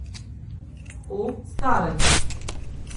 O staranju.